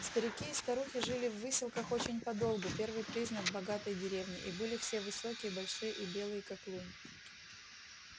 старики и старухи жили в выселках очень подолгу первый признак богатой деревни и были все высокие большие и белые как лунь